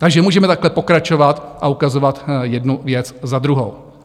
Takže můžeme takhle pokračovat a ukazovat jednu věc za druhou.